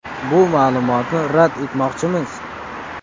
Bu ma’lumotni rad etmoqchimiz.